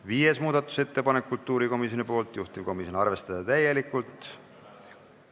Viies muudatusettepanek on kultuurikomisjonilt, juhtivkomisjon: arvestada täielikult.